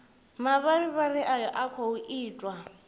mavharivhari ayo a khou itwa